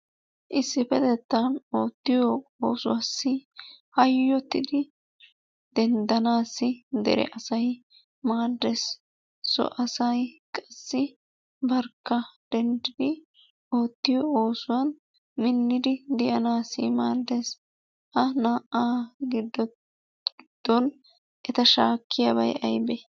Issippetwttan oottiyo oosuwassi hayyottidi denddanaassi dere asay maaddees. So asay barkka denddidi oottiyo oosuwan minnidi de'anaassi maaddees. Ha naa"aa giddon eta shaakkiyabay aybee?